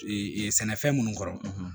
sɛnɛfɛn minnu kɔrɔ